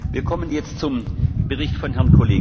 Die Aussprache ist damit geschlossen.